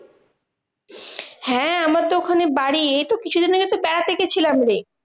হ্যাঁ আমার তো ওখানে বাড়ি এইতো কিছুদিন আগে তো বেড়াতে গেছিলাম রে।